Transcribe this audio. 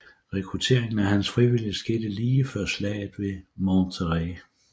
Rekrutteringen af hans frivillige skete lige før slaget ved Monterrey